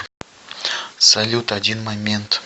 салют один момент